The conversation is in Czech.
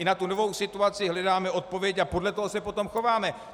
I na tu novou situaci hledáme odpověď a podle toho se potom chováme.